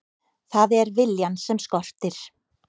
Það er viljann sem skortir.